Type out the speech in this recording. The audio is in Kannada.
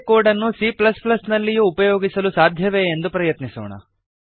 ಇದೇ ಕೋಡ್ ಅನ್ನು cನಲ್ಲಿಯೂ ಉಪಯೋಗಿಸಲು ಸಾಧ್ಯವೇ ಎಂದು ಪ್ರಯತ್ನಿಸೋಣ